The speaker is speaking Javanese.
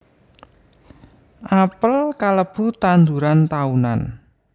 Apel kalebu tanduran taunan